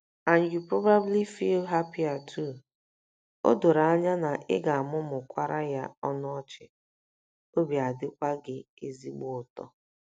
And you probably feel happier too. O doro anya na ị ga - amụmụkwara ya ọnụ ọchị, obi adịkwa gị ezigbo ụtọ.